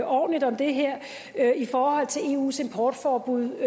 ordentligt om det her i forhold til eus importforbud